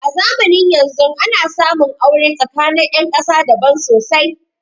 A zamanin yanzun ana samun aure tsakanin ƴan ƙasa daban sosai